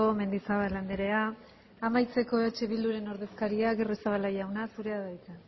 mendizabal andrea amaitzeko eh bilduren ordezkariak agirrezabala jauna zurea da hitza